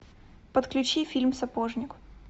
подключи фильм сапожник